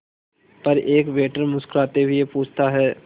पर एक वेटर मुस्कुराते हुए पूछता है